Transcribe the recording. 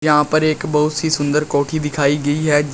यहां पर एक बहुत सी सुंदर कोठी दिखाइ गई है।